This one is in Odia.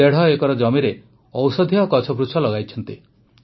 ସେ ଦେଢ଼ ଏକର ଜମିରେ ଔଷଧୀୟ ଗଛ ଲଗାଇଛନ୍ତି